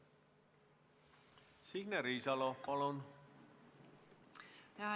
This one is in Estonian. Signe Riisalo, palun!